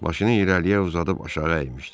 Başını irəliyə uzadıb aşağı əymişdi.